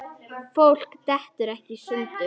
Fólk dettur ekkert í sundur.